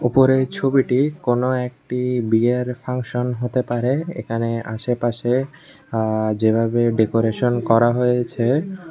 উপরের ছবিটি কোন একটি বিয়ের ফাংশন হতে পারে এখানে আশেপাশে আ যেভাবে ডেকোরেশন করা হয়েছে।